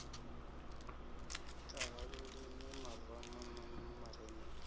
ṱhaha lulimi marama na marinini